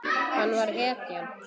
Hann var hetjan.